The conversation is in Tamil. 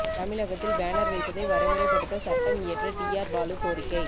தமிழகத்தில் பேனர் வைப்பதை வரைமுறைப்படுத்த சட்டம் இயற்ற டி ஆர் பாலு கோரிக்கை